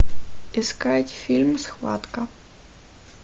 искать фильм схватка